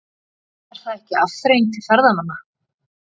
Er það ekki afþreying til ferðamanna?